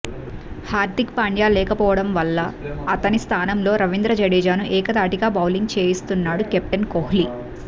హార్దిక్ పాండ్య లేకపోవడం వల్ల అతని స్థానంలో రవీంద్ర జడేజాను ఏకధాటిగా బౌలింగ్ చేయిస్తున్నాడు కేప్టెన్ కోహ్లీ